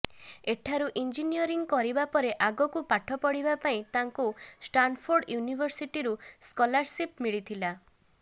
ଏଠାରୁ ଇଞ୍ଜିନିୟରିଙ୍ଗ କରିବା ପରେ ଆଗକୁ ପାଠ ପଢ଼ିବା ପାଇଁ ତାଙ୍କୁ ଷ୍ଟାନଫୋର୍ଡ଼ ୟୁନିଭର୍ସିଟିରୁ ସ୍କଲାରସିପ୍ ମିଳିଥିଲା